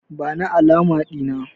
Bani alama Dina!